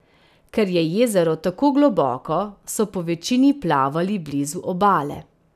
Ker je jezero tako globoko, so povečini plavali blizu obale.